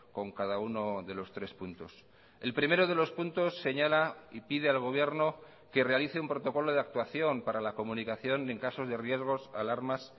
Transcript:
con cada uno de los tres puntos el primero de los puntos señala y pide al gobierno que realice un protocolo de actuación para la comunicación en casos de riesgos alarmas